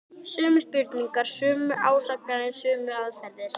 Sömu spurningar, sömu ásakanir, sömu aðferðir.